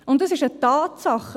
Und das ist eine Tatsache: